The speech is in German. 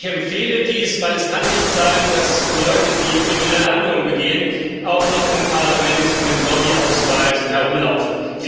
Ich empfehle dies, denn es kann nicht sein, dass Leute, die kriminelle Handlungen begehen, auch noch im Parlament mit Lobby Ausweisen herumlaufen.